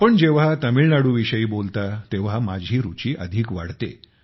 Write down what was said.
आपण जेव्हा तामिळनाडू विषयी बोलता तेव्हा माझी रुची अधिक वाढते